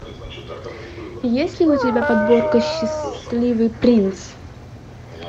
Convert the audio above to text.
есть ли у тебя подборка счастливый принц